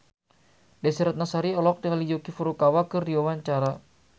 Desy Ratnasari olohok ningali Yuki Furukawa keur diwawancara